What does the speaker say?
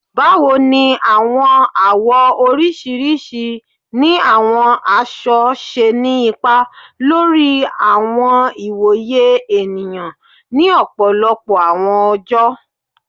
Báwo ní àwọn àwọ̀ oríṣiríṣi ni àwọn aṣọ ṣe ni ipa lórí àwọn ìwòye ènìyàn ni ọ̀pọ̀lọpọ̀ àwọn oojọ?